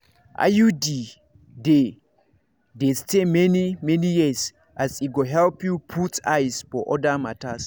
iud dey dey stay many-many years as e go help you put eyes for other matters.